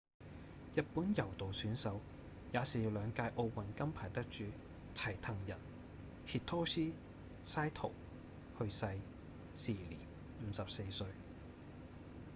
日本柔道選手也是兩屆奧運金牌得主齊藤仁 hitoshi saito 去世時年54歲